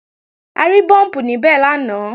A rí búùmpù níbẹ̀ lánàá